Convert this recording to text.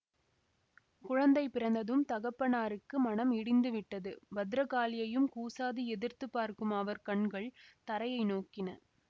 குழந்தை பிறந்ததும் தகப்பனாருக்கு மனம் இடிந்துவிட்டது பத்திரகாளியையும் கூசாது எதிர்த்து பார்க்கும் அவர் கண்கள் தரையை நோக்கின